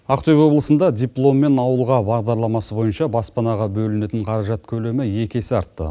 ақтөбе облысында диплом мен ауылға бағдарламасы бойынша баспанаға бөлінетін қаражат көлемі екі есе артты